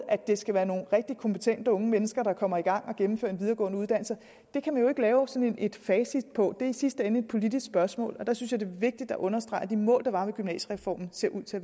at det skal være nogle rigtig kompetente unge mennesker der kommer i gang og gennemfører en videregående uddannelse kan man jo ikke lave sådan et facit på det det er i sidste ende et politisk spørgsmål der synes er vigtigt at understrege at de mål der var med gymnasiereformen ser ud til